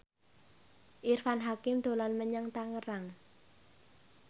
Irfan Hakim dolan menyang Tangerang